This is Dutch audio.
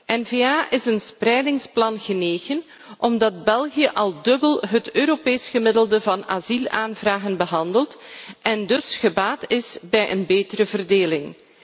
De N VA is een spreidingsplan genegen omdat België al het dubbele van het Europees gemiddelde van asielaanvragen behandelt en dus gebaat is bij een betere verdeling.